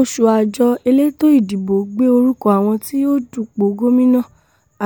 ọ̀sùn àjọ elétò ìdìbò gbé orúkọ àwọn tí yóò dupò gómìnà